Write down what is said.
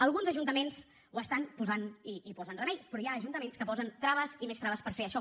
alguns ajuntaments hi estan posant i hi posen remei però hi ha ajuntaments que posen traves i més traves per fer això